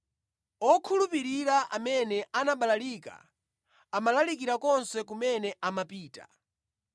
Okhulupirira amene anabalalika amalalikira konse kumene amapita.